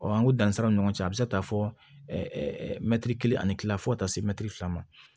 Ɔ an ko dansaw ni ɲɔgɔn cɛ a bɛ se ka taa fɔ mɛtiri kelen ani kila fo ka taa se mɛtiri fila ma